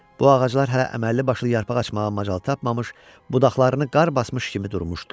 Bu ağaclar hələ əməlli başlı yarpaq açmağa macal tapmamış budaqlarını qar basmış kimi durmuşdular.